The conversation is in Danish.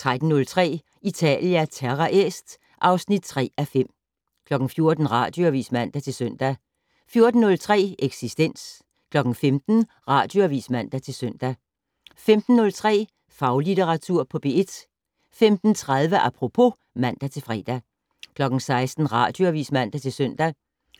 13:03: Italia Terra Est (3:5) 14:00: Radioavis (man-søn) 14:03: Eksistens 15:00: Radioavis (man-søn) 15:03: Faglitteratur på P1 15:30: Apropos (man-fre) 16:00: Radioavis (man-søn)